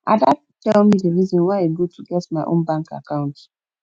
ada tell me the reason why e good to get my own bank account